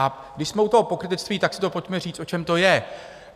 A když jsme u toho pokrytectví, tak si to pojďme říct, o čem to je.